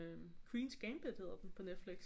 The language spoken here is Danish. Queen's Gambit hedder den på Netflix